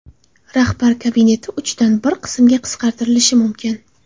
Rahbar kabineti uchdan bir qismga qisqartirilishi mumkin.